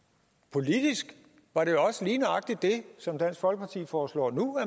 politisk var det også lige nøjagtig det som dansk folkeparti foreslår nu